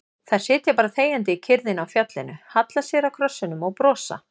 Þær sitja bara þegjandi í kyrrðinni á fjallinu, halla sér að krossinum og brosa.